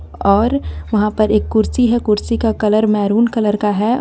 और वहां पर एक कुर्सी है कुर्सी का कलर मेहरून कलर का है.